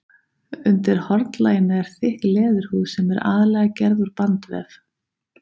Undir hornlaginu er þykk leðurhúð sem er aðallega gerð úr bandvef.